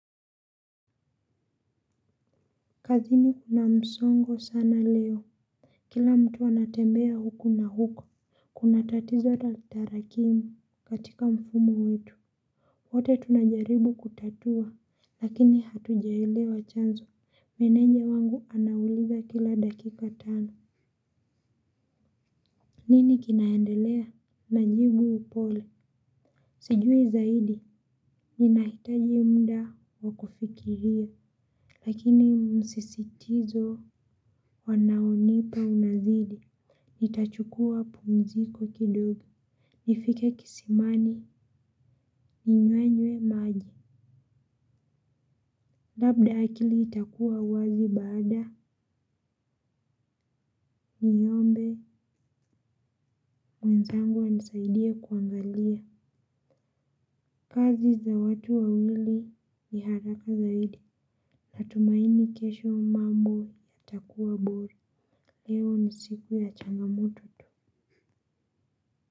Kazini kuna msongo sana leo. Kila mtu anatembea huku na huku. Kuna tatizo la tarakimu katika mfumo wetu. Wote tunajaribu kutatua, lakini hatujaelewa chanzo. Meneja wangu anauliza kila dakika tano. Nini kinaendelea na jibu kwa upole? Sijui zaidi, ninahitaji muda wa kufikiria. Lakini msisitizo wanaonipa unazidi. Nitachukua pumziko kidogo nifike kisimani, ninywe maji. Labda akili itakuwa wazi baada, niombe, mwenzangu anisaidie kuangalia. Kazi za watu wawili ni haraka zaidi. Natumaini kesho mambo yatakuwa bora. Leo ni siku ya changamoto tu.